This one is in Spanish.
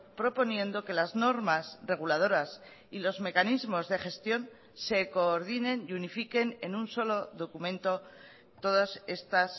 proponiendo que las normas reguladoras y los mecanismos de gestión se coordinen y unifiquen en un solo documento todas estas